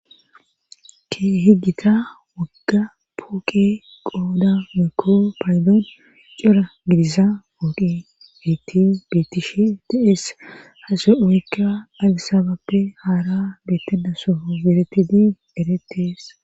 Ke hegita wagga pooke qooda meekko paaydoon cora gidisa mooqi beti bettishi da7es hase weekka alisababe haara beettenda soho beretidi eretees.